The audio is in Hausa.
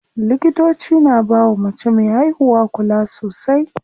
Likitoci na bawa mace me haihuwa kula sosai.